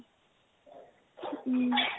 উম